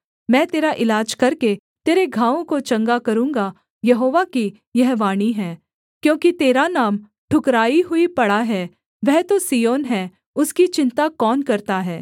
मैं तेरा इलाज करके तेरे घावों को चंगा करूँगा यहोवा की यह वाणी है क्योंकि तेरा नाम ठुकराई हुई पड़ा है वह तो सिय्योन है उसकी चिन्ता कौन करता है